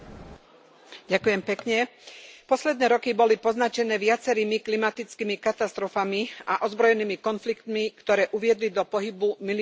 Pán predsedajúci, posledné roky boli poznačené viacerými klimatickými katastrofami a ozbrojenými konfliktmi, ktoré uviedli do pohybu milióny ľudí.